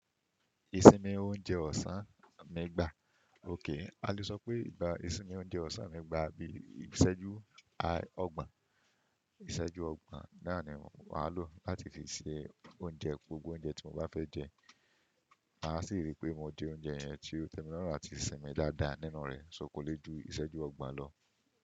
Ìsinmi oúnjẹ ọ̀sán mi gbà. A le sọ pé ìgbà ìsinmi oúnjẹ ọ̀sán mi gbà bí i ìsẹ́jú ọgbọ̀n. Ìsẹ́jú ọgbọ̀n náà ni màá lò láti fi se oúnjẹ, gbogbo oúnjẹ tí mo bá fẹ́ jẹ. Màá sì ríi pé mo jẹ oúnjẹ yẹn tí ó tẹ́mi lọ́rùn àti sinmi dáadáa. Ninu rẹ̀, kọ lé ju ìsẹ́jú ọgbọ̀n lọ.